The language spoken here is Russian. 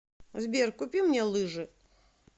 сбер купи мне лыжи